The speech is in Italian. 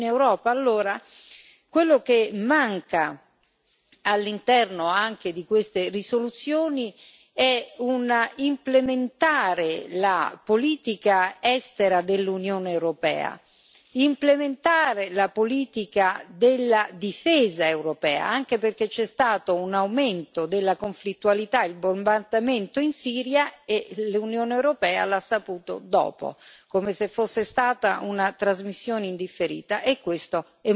Allora, quello che manca all'interno di queste risoluzioni è implementare la politica estera dell'Unione europea, implementare la politica della difesa europea, anche perché c'è stato un aumento della conflittualità il bombardamento in Siria e l'Unione europea l'ha saputo dopo, come se fosse stata una trasmissione in differita e questo è molto grave.